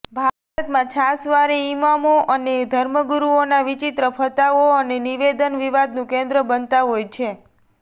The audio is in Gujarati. ભારતમાં છાશવારે ઇમામો અને ધર્મગુરુઓના વિચિત્ર ફતવાઓ અને નિવેદન વિવાદનું કેન્દ્ર બનતા હોય છે